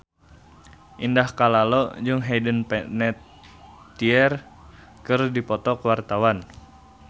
Indah Kalalo jeung Hayden Panettiere keur dipoto ku wartawan